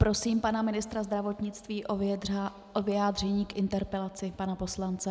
Prosím pana ministra zdravotnictví o vyjádření k interpelaci pana poslance.